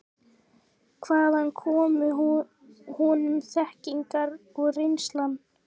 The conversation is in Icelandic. Hvaðan kom honum þekkingin og reynslan?